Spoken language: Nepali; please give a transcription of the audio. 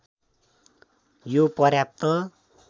यो पर्याप्त